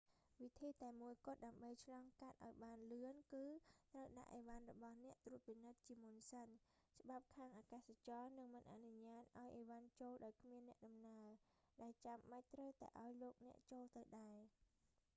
វិធីតែមួយគត់ ដើម្បីឆ្លងកាត់បានលឿន គឺត្រូវដាក់អីវ៉ាន់របស់អ្នកត្រួតពិនិត្យជាមុនសិន ច្បាប់ខាងអាកាសចរនឹងមិនអនុញ្ញាតឱ្យអីវ៉ាន់ចូលដោយគ្មានអ្នកដំណើរ ដែលចាំបាច់ត្រូវតែឱ្យលោកអ្នកចូលទៅដែរ